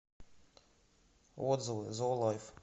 отзывы зоолайф